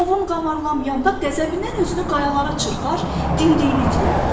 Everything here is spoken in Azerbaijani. Ovun qamarlamıyanda qəzəbindən özünü qayalara çırpar, dimdiyini itilərdi.